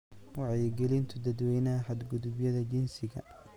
wacyi gelinta dadweynaha xadgudubyada jinsiga.